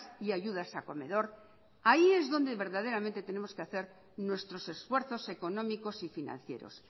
y ayudas a comedor ahí es donde verdaderamente tenemos que hacer nuestros esfuerzos económicos y financieros